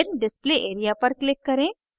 फिर display area पर click करें